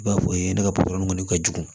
I b'a fɔ ne ka kɔni ka jugu